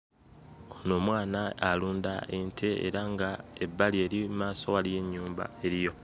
Ono omwana alunda ente era nga ebbali eri mmaaso waliyo ennyumba eriyo.